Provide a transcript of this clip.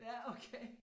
Ja okay